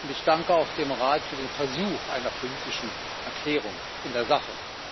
Ich danke dem Rat für den Versuch einer politischen Erklärung in der Sache.